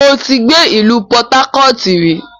Mo ti gbé ìlú pọtákọ̀ọ̀tù rí